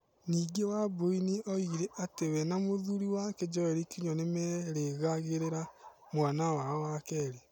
Ningĩ Wambui nĩ oigire atĩ we na mũthuri wake Joel Kĩnyua nĩ merĩgagĩrĩra mwana wao wa kerĩ.